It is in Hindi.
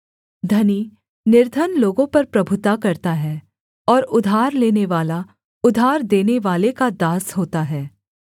धनी निर्धन लोगों पर प्रभुता करता है और उधार लेनेवाला उधार देनेवाले का दास होता है